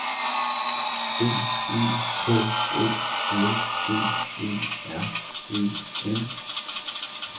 B E H O L D E R E N